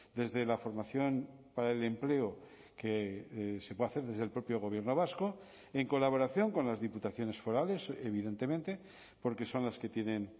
desde la formación para el empleo que se puede hacer desde el propio gobierno vasco en colaboración con las diputaciones forales evidentemente porque son las que tienen